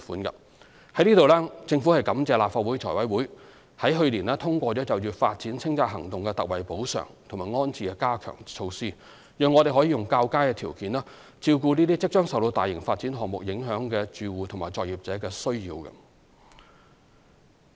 就此，政府感謝立法會財務委員會去年通過就發展清拆行動特惠補償及安置的加強措施，讓我們可以較佳的條件照顧即將受到大型發展項目影響的住戶及作業者的需要。